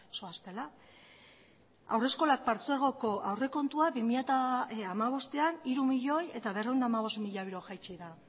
zoaztela haurreskolak patzuergoko aurrekontua bi mila hamabostan hiru milioi berrehun eta hamabost mila euro jaitsi da